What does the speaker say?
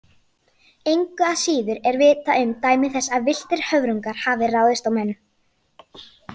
Engu að síður er vitað um dæmi þess að villtir höfrungar hafi ráðist á menn.